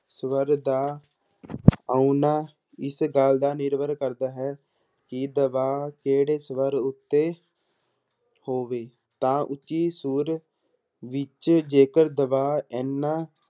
ਸਵਰ ਦਾ ਆਉਣਾ ਇਸ ਗੱਲ ਦਾ ਨਿਰਭਰ ਕਰਦਾ ਹੈ ਕਿ ਦਬਾਅ ਕਿਹੜੇ ਸਵਰ ਉੱਤੇ ਹੋਵੇ ਤਾਂ ਉੱਚੀ ਸੁਰ ਵਿੱਚ ਜੇਕਰ ਦਬਾਅ ਇੰਨਾ